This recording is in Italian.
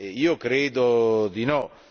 Io credo di no.